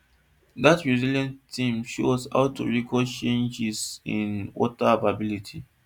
dat resilience team show us how to record changes in water availability